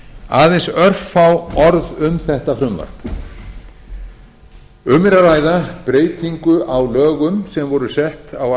aðeins örfá orð um þetta frumvarp um er að ræða breytingu á lögum sem voru sett á